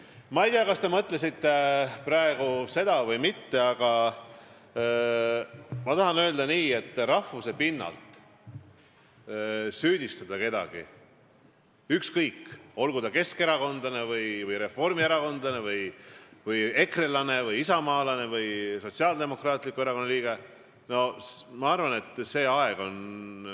Ma ei tea, kas te mõtlesite praegu seda või mitte, aga ma tahan öelda, et rahvuse pinnalt süüdistada kedagi, ükskõik, olgu ta keskerakondlane, reformierakondlane, ekrelane, isamaalane või Sotsiaaldemokraatliku Erakonna liige, ma arvan, et see aeg on ...